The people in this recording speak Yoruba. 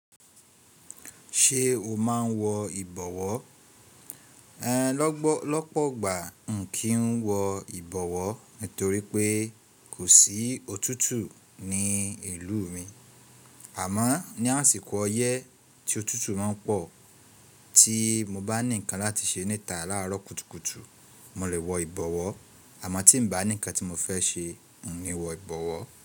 Ṣé o máa ń wọ ìbọ̀wọ́? Ẹ̀ lọ́pọ̀gbà n kì ń wọ ìbọ̀wọ́ nítorí pé kò sí òtútù ní ìlú mi. Àmọ́ ní àsìkò ọyẹ́ tí òtútù máa ń pọ̀ tí mo bá ní ǹkan láti ṣe níta láàárọ̀ kùtùkùtù, mo lè wọ ìbọ̀wọ́. Àmọ́ tí n bá ní ǹkan tí mo fẹ ṣe n kì ń wọ ìbọ̀wọ́